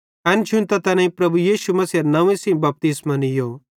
एन शुन्तां तैनेईं प्रभु यीशु मसीहेरे नंव्वे सेइं बपतिस्मो नीयो